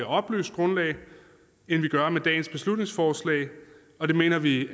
oplyst grundlag end vi gør med dagens beslutningsforslag og det mener vi